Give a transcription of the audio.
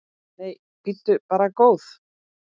Nei, bíddu bara, góði.